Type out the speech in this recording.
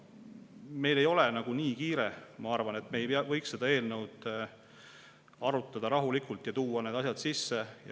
Meil ei ole nii kiire, ma arvan, et me ei võiks seda eelnõu arutada rahulikult ja tuua need asjad sisse.